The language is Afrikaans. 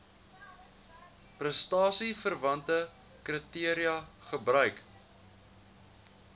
prestasieverwante kriteria gebruik